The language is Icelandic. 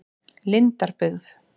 Lindarbyggð